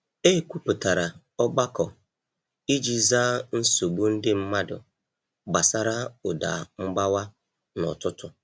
E kwupụtara ogbako iji zaa nsogbu ndị mmadụ gbasara ụda mgbawa n’ụtụtụ